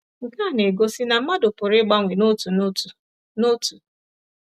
Nke a na-egosi na mmadụ pụrụ ịgbanwe n’otu n’otu. n’otu.